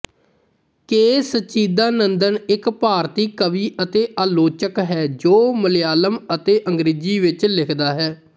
ਕੇ ਸਚਿਦਾਨੰਦਨ ਇੱਕ ਭਾਰਤੀ ਕਵੀ ਅਤੇ ਆਲੋਚਕ ਹੈ ਜੋ ਮਲਿਆਲਮ ਅਤੇ ਅੰਗ੍ਰੇਜ਼ੀ ਵਿੱਚ ਲਿਖਦਾ ਹੈ